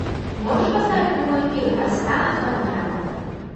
можешь поставить прямой эфир арсенала с тоттенхэмом